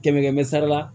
Kɛmɛ kɛmɛ sara la